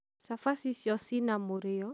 Cabaci icio ci na mũrio?